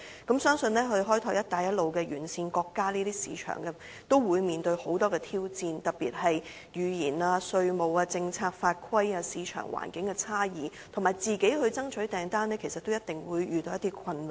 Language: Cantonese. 同樣，相信開拓"一帶一路"沿線國家的市場，都會面對很多挑戰，特別是語言、稅務、政策、法規、市場環境的差異，以及自行爭取訂單，其實都一定會遇到一些困難。